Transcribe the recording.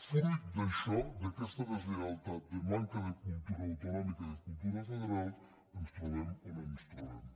fruit d’això d’aquesta deslleialtat de manca de cultura autonòmica i de cultura federal ens trobem on ens trobem